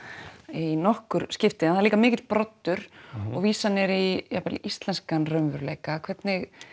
í nokkur skipti en það er líka mikill broddur og vísanir í jafnvel íslenskan raunveruleika hvernig